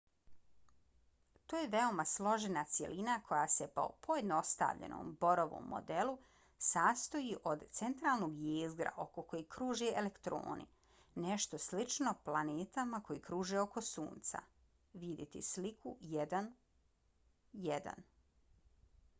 to je veoma složena cjelina koja se po pojednostavljenom borovom modelu sastoji od centralnog jezgra oko kojeg kruže elektorni - nešto slično planetama koje kruže oko sunca - vidjeti sliku 1.1